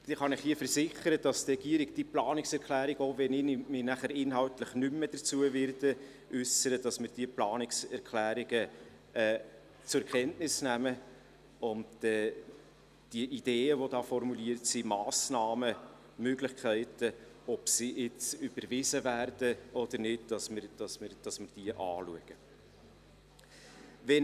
Ich kann Ihnen versichern, dass die Regierung diese Planungserklärungen zur Kenntnis nehmen und die Ideen, Massnahmen und Möglichkeiten, ob sie jetzt überwiesen werden oder nicht, anschauen wird, auch wenn ich mich nachher inhaltlich nicht mehr äussern werde.